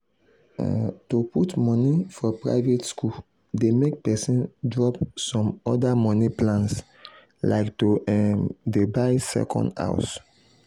um to put money for private school dey make person drop some other money plans like to um dey buy second house.